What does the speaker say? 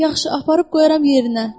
Yaxşı, aparıb qoyaram yerinə.